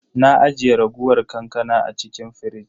Na ajiye raguwar kankana a cikin firij.